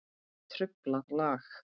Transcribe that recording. Truflað lag.